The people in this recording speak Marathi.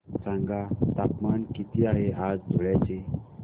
सांगा तापमान किती आहे आज धुळ्याचे